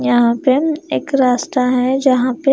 यहां पे एक रास्ता है जहां पे--